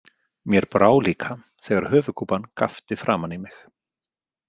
Mér brá líka þegar höfuðkúpan gapti framan í mig